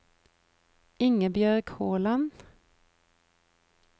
Ingebjørg Håland